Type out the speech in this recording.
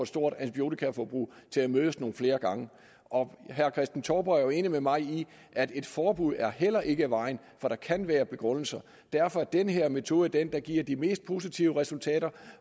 stort antibiotikaforbrug til at mødes nogle flere gange og herre kristen touborg er jo enig med mig i at et forbud heller ikke er vejen for der kan være begrundelser for derfor er den her metode den der giver de mest positive resultater